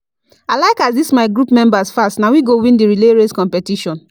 I like as this my group members fast, na we go win the relay race competition